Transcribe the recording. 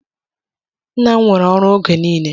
Nna m nwere ọrụ oge niile.